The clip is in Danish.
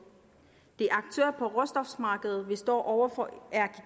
de aktører på råstofmarkedet vi står over for er